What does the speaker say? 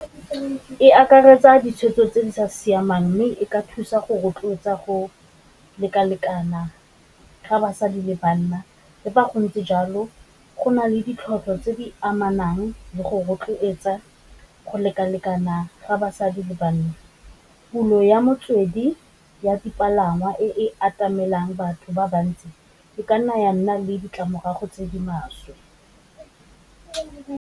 E akaretsa ditshwetso tse di sa siamang mme e ka thusa go rotloetsa go lekalekana ga basadi le banna, le fa go ntse jalo go na le tse di amanang le go rotloetsa go lekalekana ga basadi le banna. Pulo ya motswedi ya dipalangwa e atamelang batho ba bantsi, e ka nna ya nna le ditlamorago tse di maswe.